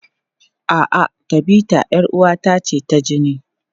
A'a, Tabita 'yar uwata ce ta jini.